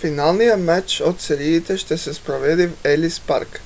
финалният мач от сериите ще се проведе в елис парк